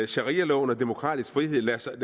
sharialoven og demokratisk frihed lader sig